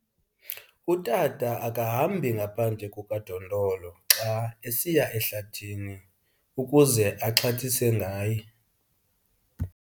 Utata akahambi ngaphandle kukadondolo xa esiya ngasehlathini ukuze axhathise ngaye.